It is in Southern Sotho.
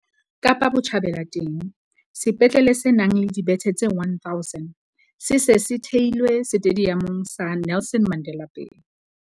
Kapa Botjhabela teng, sepetlele se nang le dibethe tse 1 000 se se se theilwe Setediamong sa Nelson Mandela Bay.